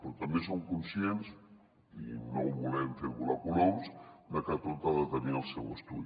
però també som conscients i no volem fer volar coloms de que tot ha de tenir el seu estudi